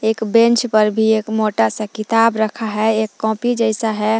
एक बेंच पर भी एक मोटा सा किताब रखा है एक कॉपी जैसा है।